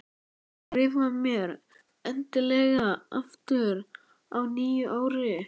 En skrifaðu mér endilega aftur á nýju ári.